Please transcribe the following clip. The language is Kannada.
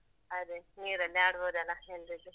ಅದೇ ನೀರಲ್ಲಿ ಆಡ್ಬೊದಲ್ಲ ಎಲ್ರಿಗೂ.